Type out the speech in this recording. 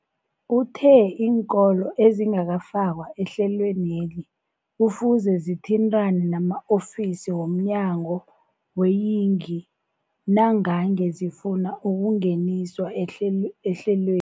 Uthe iinkolo ezingakafakwa ehlelweneli kufuze zithintane nama-ofisi wo mnyango weeyingi nangange zifuna ukungeniswa ehlel ehlelweni.